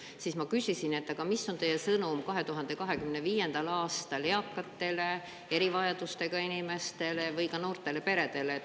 Siis ma küsisin, et aga mis on teie sõnum 2025. aastal eakatele, erivajadustega inimestele või noortele peredele.